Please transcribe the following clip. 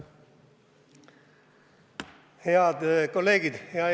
Head kolleegid!